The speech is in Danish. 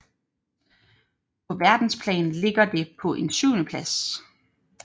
På verdensplan ligger det på en syvendeplads